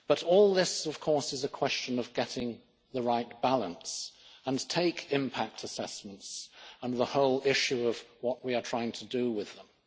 All this, of course, is a question of getting the right balance and take impact assessments and the whole issue of what we are trying to do with them.